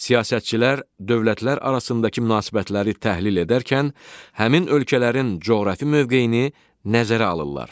Siyasətçilər dövlətlər arasındakı münasibətləri təhlil edərkən həmin ölkələrin coğrafi mövqeyini nəzərə alırlar.